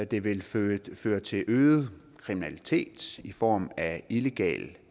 det vil føre føre til øget kriminalitet i form af illegal